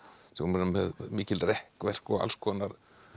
sem voru með mikil rekkverk og alls konar